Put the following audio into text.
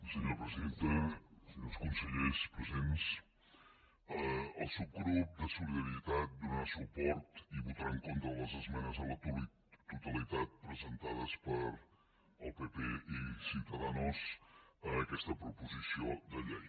senyora presidenta senyors consellers presents el subgrup de solidaritat donarà suport i votarà en contra de les esmenes a la totalitat presentades pel pp i ciudadanos a aquesta proposició de llei